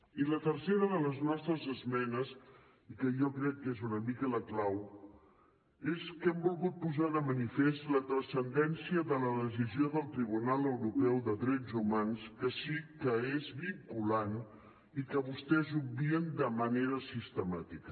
i la tercera de les nostres esmenes i que jo crec que és una mica la clau és que hem volgut posar de manifest la transcendència de la decisió del tribunal europeu de drets humans que sí que és vinculant i que vostès obvien de manera sistemàtica